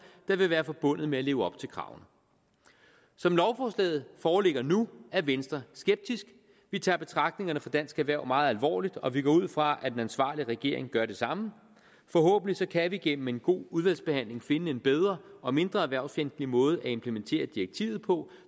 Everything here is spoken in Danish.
der vil være forbundet med at leve op til kravene som lovforslaget foreligger nu er venstre skeptisk vi tager betragtningerne fra dansk erhverv meget alvorligt og vi går ud fra at en ansvarlig regering gør det samme forhåbentlig kan vi gennem en god udvalgsbehandling finde en bedre og mindre erhvervsfjendtlig måde at implementere direktivet på